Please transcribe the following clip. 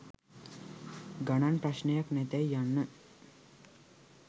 ගණන් ප්‍රශ්නයක් නැතැයි යන්න